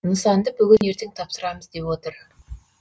нысанды бүгін ертең тапсырамыз деп отыр